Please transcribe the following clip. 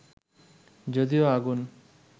যদিও আগুন